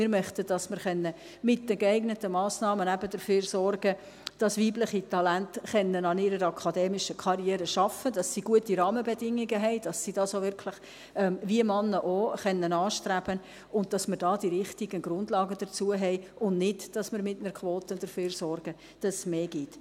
wir möchten, dass wir mit den geeigneten Massnahmen dafür sorgen können, dass weibliche Talente an ihrer akademischen Karriere arbeiten können, dass sie gute Rahmenbedingungen haben, damit sie dies, wie Männer auch, anstreben können, und dass wir die richtigen Grundlagen dazu haben, aber ohne dass wir mit einer Quote dafür sorgen, dass es mehr gibt.